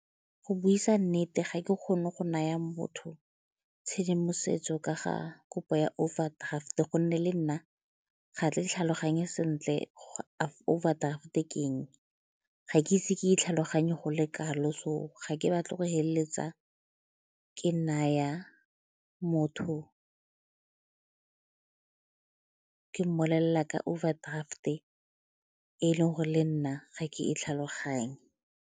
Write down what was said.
Go buisa nnete, ga ke kgone go naya motho tshedimosetso ka ga kopo ya overdraft-e gonne le nna ga tle tlhaloganye sentle overdraft-e ke eng, ga ke ise ke e tlhaloganye go le kalo so ga ke batla go feleletsa ke naya motho, ke mmolelela ka overdraft-e e e leng gore le nna ga ke e tlhaloganye.